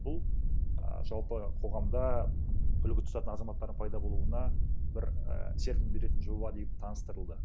бұл ааа жалпы қоғамда үлгі тұтатын азаматтардың пайда болуына бір і серпін беретін жоба деп таныстырылды